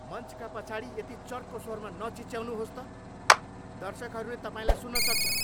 मञ्चका पछाडि यति चर्को स्वरमा नचिच्याउनुहोस् त। दर्शकहरूले तपाईँलाई सुन्न सक्छन्।